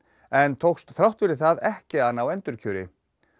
en tókst þrátt fyrir það ekki að ná endurkjöri